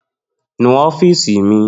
Nu ọọ́fíìsì mi